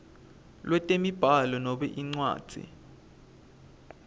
lwetemibhalo noma incwadzi